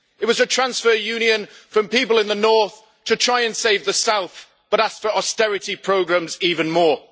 It was a transfer union from people in the North to try and save the South, but asked for austerity programmes even more.